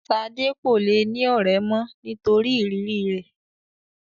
Ṣadé kò le ní ọ̀rẹ́ mó nítorí ìrírí rẹ.